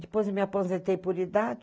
Depois eu me aposentei por idade.